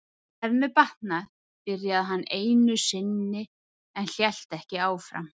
Ef mér batnar., byrjaði hann einu sinni en hélt ekki áfram.